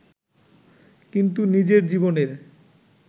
কিন্তু নিজের জীবনের